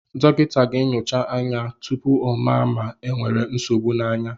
Dọkịta ga-enyocha anya tụpụ ọ mara ma e nwèrè nsogbụ na ya